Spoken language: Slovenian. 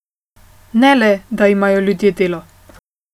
Ne le, da imajo ljudje delo.